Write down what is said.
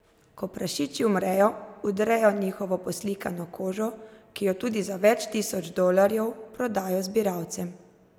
Ko prašiči umrejo, vdrejo njihovo poslikano kožo, ki jo za tudi več tisoč dolarjev prodajo zbiralcem.